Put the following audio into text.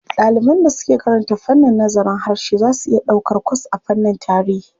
Ɗaliban da suke karanta fannin nazarin harshe za su iya ɗaukar kwas a fannin tarihi.